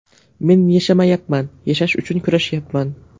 Men yashamayapman, yashash uchun kurashyapman.